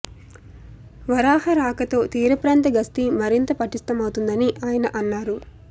వరాహ రాకతో తీర ప్రాంత గస్తీ మరింత పటిష్టమవుతుందని ఆయన అన్నారు